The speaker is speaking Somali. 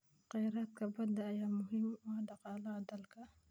Kheyraadka badda ayaa muhiim u ah dhaqaalaha dalka.